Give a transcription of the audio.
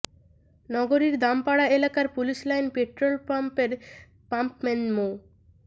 নগরীর দামপাড়া এলাকার police line petrol পাম্পের পাম্পম্যান মো